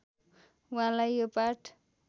वहाँलाई यो पाठ